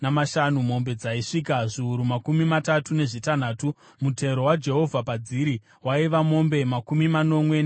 mombe dzaisvika zviuru makumi matatu nezvitanhatu, mutero waJehovha padziri waiva mombe makumi manomwe nembiri;